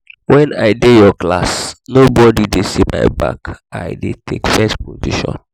wen i dey your class no body dey see my back i dey take first position